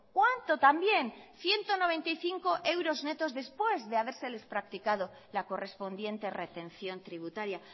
cuánto también ciento noventa y cinco euros netos después de habérseles practicado la correspondiente retención tributaria